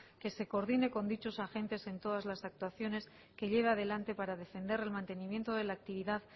que se coordine con dichos agentes en todas las actuaciones que lleve adelante para defender el mantenimiento de la actividad